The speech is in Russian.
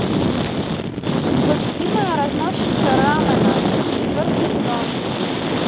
непобедимая разносчица рамэна четвертый сезон